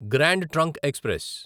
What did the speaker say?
grand trunk express